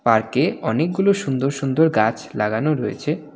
পার্কে অনেকগুলো সুন্দর সুন্দর গাছ লাগানো রয়েছে।